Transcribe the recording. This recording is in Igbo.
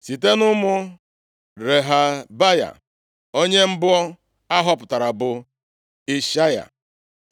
Site nʼụmụ Rehabaya, onye mbụ a họpụtara bụ Ishaya.